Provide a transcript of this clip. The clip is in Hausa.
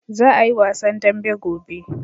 Za a yi wasan dambe gobe.